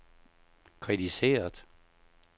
kritiseret